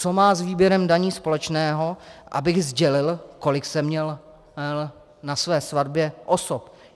Co má s výběrem daní společného, abych sdělil, kolik jsem měl na své svatbě osob?